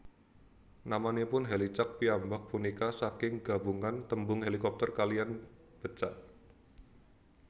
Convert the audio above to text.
Namanipun Hèlicak piyambak punika saking gabungan tembung hélikopter kaliyan bécak